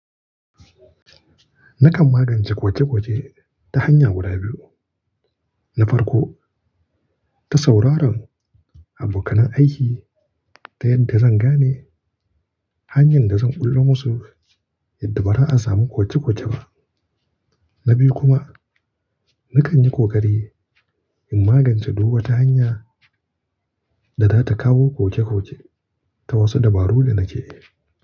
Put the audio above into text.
Nakan magance koke koke ta hanya guda biyu. Na farko, ta sauraron abokan aiki ta yadda zan gane hanyar da zan bullo musu yadda ba za a samu koke koke ba. Na biyu kuma, nakan yi kokari in magance duk wata hanya da za ta kawo koke koke ta wasu dabaru da nake yi.